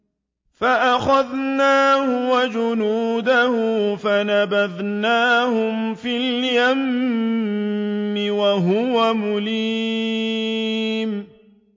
فَأَخَذْنَاهُ وَجُنُودَهُ فَنَبَذْنَاهُمْ فِي الْيَمِّ وَهُوَ مُلِيمٌ